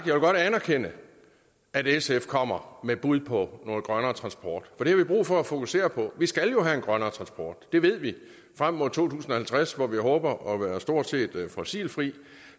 jeg godt anerkende at sf kommer med et bud på noget grønnere transport for det har vi brug for at fokusere på vi skal jo have grønnere transport det ved vi frem mod to tusind og halvtreds hvor vi håber at være stort set fossilfri